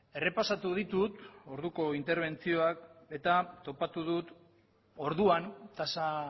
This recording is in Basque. errepasatu ditut orduko interbentzioak eta topatu dut orduan tasa